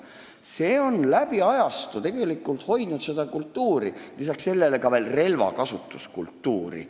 See on läbi ajastute hoidnud seda kultuuri, lisaks veel ka relvakasutuskultuuri.